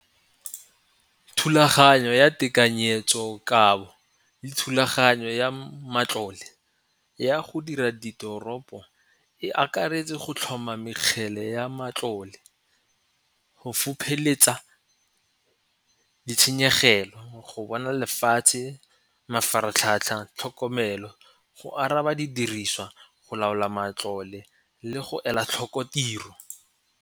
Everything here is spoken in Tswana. Thulaganyo ya tekanyetsokabo le thulaganyo ya matlole ya go dira ditoropo e akaretse go tlhoma mekgele ya matlole go fopheletsa ditshenyegelo go bona lefatshe, mafaratlhatlha, tlhokomelo, go araba didiriswa, go laola matlole, le go ela tlhoko tiro.